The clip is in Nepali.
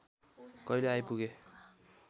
कहिले आइपुगे